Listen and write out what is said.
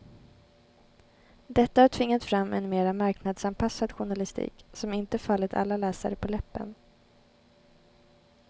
Detta har tvingat fram en mera marknadsanpassad journalistik, som inte fallit alla läsare på läppen.